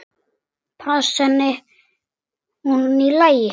Fannst henni hún í lagi?